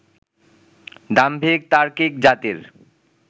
দাম্ভিক, তার্কিক জাতির